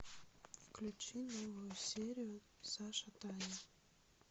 включи новую серию саша таня